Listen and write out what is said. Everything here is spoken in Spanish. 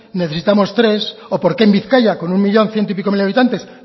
necesitamos tres o porque en bizkaia con un millón ciento y pico mil habitantes